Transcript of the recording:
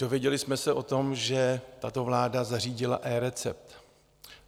Dozvěděli jsme se o tom, že tato vláda zařídila eRecept.